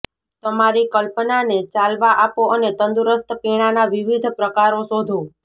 તમારી કલ્પનાને ચાલવા આપો અને તંદુરસ્ત પીણાના વિવિધ પ્રકારો શોધો